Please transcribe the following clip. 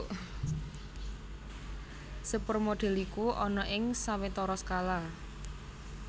Sepur modèl iku ana ing sawetara skala